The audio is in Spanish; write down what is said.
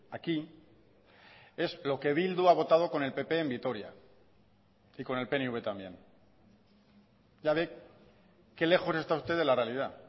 aquí es lo que bildu ha votado con el pp en vitoria y con el pnv también ya ve qué lejos está usted de la realidad